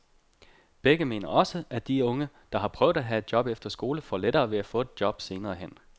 Begge mener også, at de unge, der har prøvet at have et job efter skole, får lettere ved at få et job senere hen.